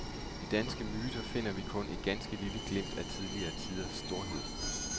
I danske myter finder vi kun et ganske lille glimt af tidligere tiders storhed.